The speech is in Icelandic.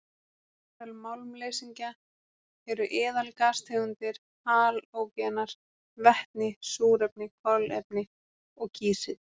Meðal málmleysingja eru eðalgastegundir, halógenar, vetni, súrefni, kolefni og kísill.